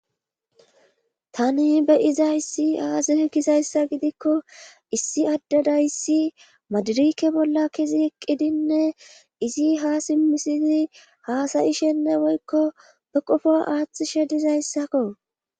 Tani be7iza issi aazee kizayssa gidikko issi addadayissi madirike bolla kezi eqqidinne izi ha simmisizi haasayi shenne woykko be qofo aaththishe dizayssakko.